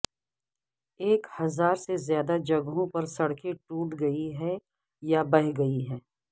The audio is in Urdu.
ایک ہزار سے زیادہ جگہوں پر سڑکیں ٹوٹ گئی ہیں یا بہہ گئی ہیں